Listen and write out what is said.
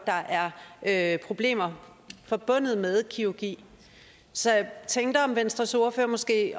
at der er problemer forbundet med kirurgi så jeg tænkte om venstres ordfører måske